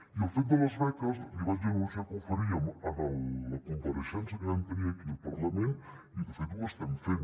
i el fet de les beques li vaig anunciar que ho faríem en la compareixença que vam tenir aquí al parlament i de fet ho estem fent